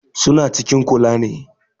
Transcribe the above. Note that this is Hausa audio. Su na cikin kula ne